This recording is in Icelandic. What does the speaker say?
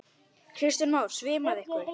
Kristján Már: Svimaði ykkur?